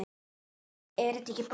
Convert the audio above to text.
Er þetta ekki brot?